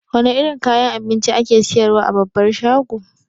Wane irin kayan abinci ake siyar wa a babbar shago?